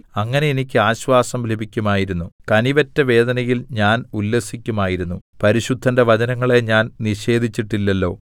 അങ്ങനെ എനിയ്ക്ക് ആശ്വാസം ലഭിക്കുമായിരുന്നു കനിവറ്റ വേദനയിൽ ഞാൻ ഉല്ലസിക്കുമായിരുന്നു പരിശുദ്ധന്റെ വചനങ്ങളെ ഞാൻ നിഷേധിച്ചിട്ടില്ലല്ലോ